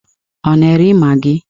Ị na-ere magị?